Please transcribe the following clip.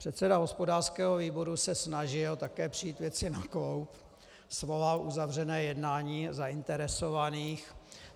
Předseda hospodářského výboru se snažil také přijít věci na kloub, svolal uzavřené jednání zainteresovaných.